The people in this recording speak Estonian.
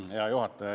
Hea juhataja!